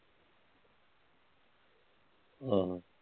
ਆਹੋ